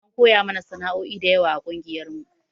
An koya mana sanao'i dayawa a ƙungiyar mu